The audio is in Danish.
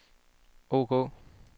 ok